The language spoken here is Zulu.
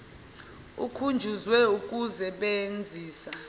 ukhunjuzwe ukuse benzisa